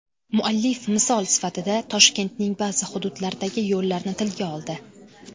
Muallif misol sifatida Toshkentning ba’zi hududlaridagi yo‘llarni tilga oldi.